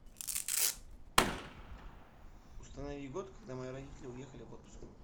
установи год когда мои родители уехали в отпуск